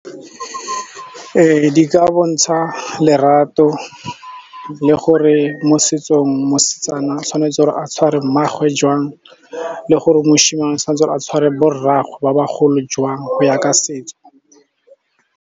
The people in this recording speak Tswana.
Ee di ka bontsha lerato le gore mo setsong mosetsana tshwanetse gore a tshware mmaagwe jwang le gore mošimane tshwantse gore a tshware bo rragwe ba bagolo jwang go ya ka setso.